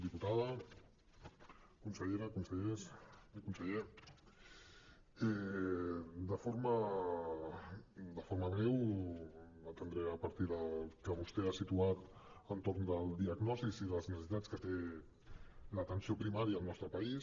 diputada consellera consellers i conseller de forma breu atendré a partir del que vostè ha situat entorn del diagnòstic i les necessitats que té l’atenció primària al nostre país